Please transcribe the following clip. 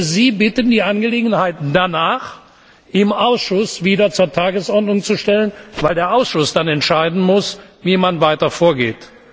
Ich würde Sie bitten, die Angelegenheit danach im Ausschuss wieder auf die Tagesordnung zu setzen, weil der Ausschuss dann entscheiden muss, wie man weiter vorgeht.